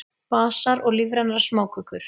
Basar og lífrænar smákökur